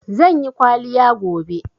Zan yi kwaliya gobe